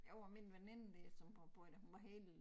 Jo og min veninde der som har boet da hun var helt